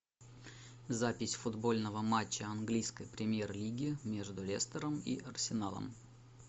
запись футбольного матча английской премьер лиги между лестером и арсеналом